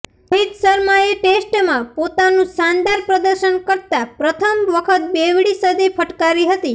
રોહિત શર્માએ ટેસ્ટમાં પોતાનું શાનદાર પ્રદર્શન કરતા પ્રથમ વખત બેવડી સદી ફટકારી હતી